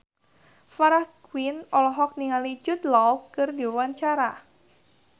Farah Quinn olohok ningali Jude Law keur diwawancara